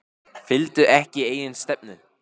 Fylgdu ekki eigin stefnu